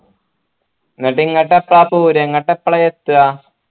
എന്നിട്ട് ഇങ്ങട്ട് എപ്പ പോരാ ഇങ്ങട്ട് എപ്പളാ ഏത്ത